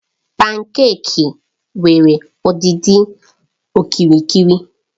Pankèki nwere ọdịdị okirikiri.